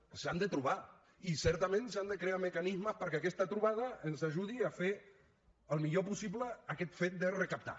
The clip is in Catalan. doncs s’han de trobar i certament s’han de crear mecanismes perquè aquesta trobada ens ajudi a fer el millor possible aquest fet de recaptar